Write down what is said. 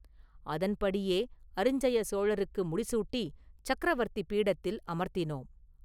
அதன்படியே அரிஞ்சய சோழருக்கு முடிசூட்டி சக்கரவர்த்தி பீடத்தில் அமர்த்தினோம்.